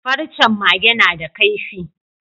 Farcen Mage nada kaifi